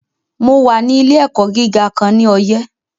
Mo wà ní ilé - ẹ̀kọ́ gíga kan ní Ọyẹ́